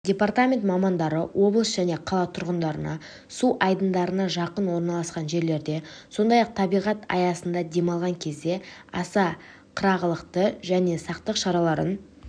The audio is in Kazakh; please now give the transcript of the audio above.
департамент мамандары облыс және қала тұрғындарына су айдындарына жақын орналасқан жерлерде сондай-ақ табиғат аясында демалған кезде аса қырағылық пен сақтық шараларын